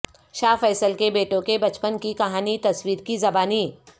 شاہ Faisal کے بیٹوں کے بچپن کی کہانی تصویر کی زبانی